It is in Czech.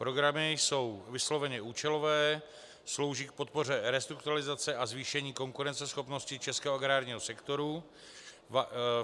Programy jsou vysloveně účelové, slouží k podpoře restrukturalizace a zvýšení konkurenceschopnosti českého agrárního sektoru.